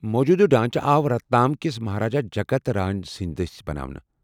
موجوٗدٕ ڈانٛچہٕ آو رتلام کِس مہاراجا جگت راج سٕندِ دٕسۍ بناونہٕ ۔